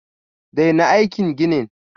Daina aikin ginin!